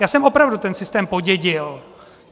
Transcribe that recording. Já jsem opravdu ten systém podědil.